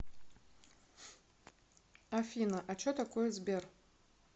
афина а че такое сбер